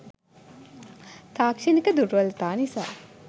තාක්ෂණික දුර්වලතා නිසා